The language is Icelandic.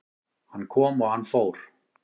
Hann kom og hann fór